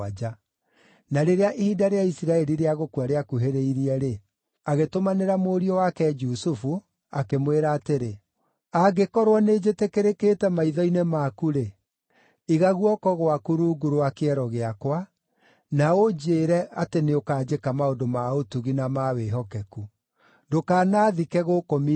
Na rĩrĩa ihinda rĩa Isiraeli rĩa gũkua rĩakuhĩrĩirie-rĩ, agĩtũmanĩra mũriũ wake Jusufu, akĩmwĩra atĩrĩ, “Angĩkorwo nĩnjĩtĩkĩrĩkĩte maitho-inĩ maku-rĩ, iga guoko gwaku rungu rwa kĩero gĩakwa, na ũnjĩĩre atĩ nĩũkanjĩka maũndũ ma ũtugi na ma wĩhokeku. Ndũkanaathike gũkũ Misiri,